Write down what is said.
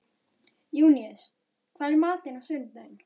Júníus, hvað er í matinn á sunnudaginn?